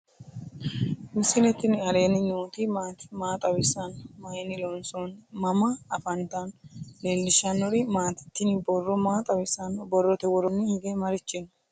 misile tini alenni nooti maati? maa xawissanno? Maayinni loonisoonni? mama affanttanno? leelishanori maati? tini borro maa xawisano? borrote woroni hige marichi no?